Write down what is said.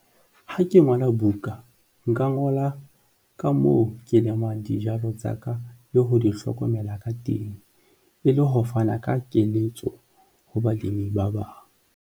Ha ke ngola buka, nka ngola ka moo ke lemang dijalo tsa ka le ho di hlokomela ka teng e le ho fana ka keletso ho balemi ba bang.